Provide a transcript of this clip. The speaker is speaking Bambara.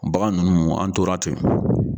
Bagan ninnu an tora ten.